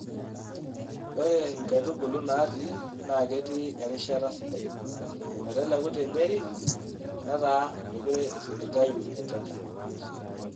Ore nkaitubulu natii naa ketii erishata sidai meteleku te Nyeri nataa meekure eisiligayu enchan.